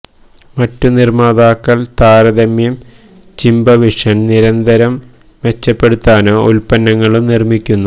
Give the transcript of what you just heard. മറ്റ് നിർമ്മാതാക്കൾ താരതമ്യം ചിബ വിഷൻ നിരന്തരം മെച്ചപ്പെടുത്താനോ ഉൽപ്പന്നങ്ങളും നിർമ്മിക്കുന്ന